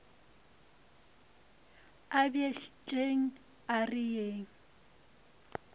a bjetšeng a re yeng